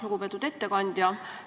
Lugupeetud ettekandja!